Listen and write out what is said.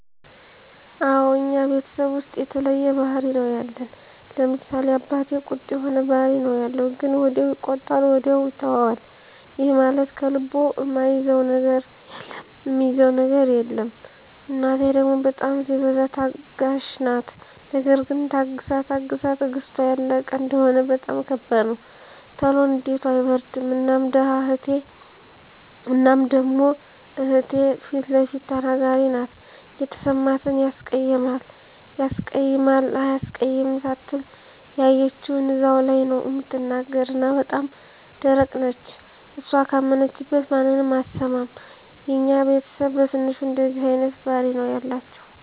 አወ እኛ ቤተሰብ ዉስጥ የተለያየ ባህሪ ነዉ ያለን፤ ለምሳሌ፦ አባቴ ቁጡ የሆነ ባህሪ ነዉ ያለዉ ግን ወዲያዉ ይቆጣል ወዲያዉ ይተወዋል ይህም ማለት ከልቡ እሚይዘዉ ነገር የለም፣ እናቴ ደሞ በጣም ሲበዛ ታጋሽ ናት ነገር ግን ታግሳ ታግሳ ትግስቷ ያለቀ እንደሆነ በጣም ከባድ ነዉ። ቶሎ ንዴቷ አይበርድም እና ደሞ እህቴ ፊለፊት ተናጋሪ ናት የተሰማትን ያስቀይማል አያስቀይምም ሳትል ያየችዉን እዛዉ ላይ ነዉ እምትናገር እና በጣም ደረቅ ነች እሷ ካመነችበት ማንንም አትሰማም። የኛ ቤተስብ በትንሹ እንደዚህ አይነት ባህሪ ነዉ ያላቸዉ።